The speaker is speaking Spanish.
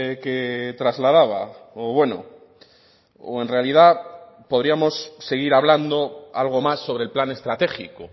que trasladaba o bueno o en realidad podríamos seguir hablando algo más sobre el plan estratégico